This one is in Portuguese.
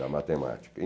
da matemática. E